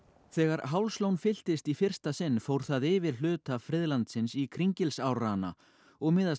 þegar Hálslón fylltist í fyrsta sinn fór það yfir hluta friðlandsins í Kringilsárrana og miðast